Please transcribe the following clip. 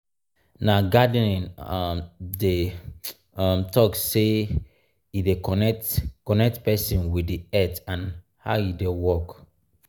na gardening um dem um talk sey e dey connect connect pesin with di earth and how e dey work. um